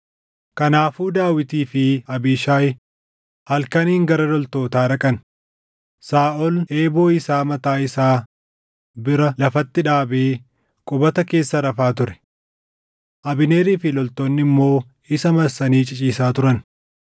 Kanaafuu Daawitii fi Abiishaayi halkaniin gara loltootaa dhaqan; Saaʼol eeboo isaa mataa isaa bira lafatti dhaabee qubata keessa rafaa ture. Abneerii fi loltoonni immoo isa marsanii ciciisaa turan.